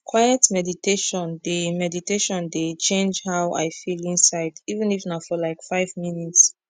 quiet meditation dey meditation dey change how i feel inside even if na for like five minutes